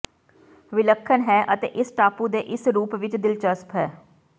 ਵਿਲੱਖਣ ਹੈ ਅਤੇ ਇਸ ਟਾਪੂ ਦੇ ਇਸ ਦੇ ਰੂਪ ਵਿੱਚ ਦਿਲਚਸਪ ਹੈ